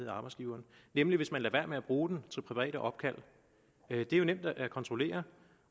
af arbejdsgiveren nemlig hvis man lader være med at bruge den til private opkald det er nemt at kontrollere